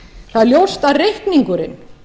það er ljóst að reikningurinn